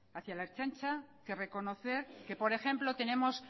hacia la ertzaintza que reconocer que por ejemplo tenemos